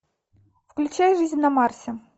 включай жизнь на марсе